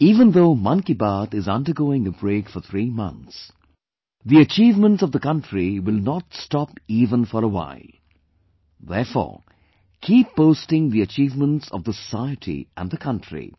Even though 'Mann Ki Baat' is undergoing a break for three months, the achievements of the country will not stop even for a while, therefore, keep posting the achievements of the society and the country